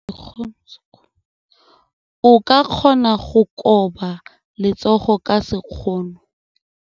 O ka kgona go koba letsogo ka sekgono.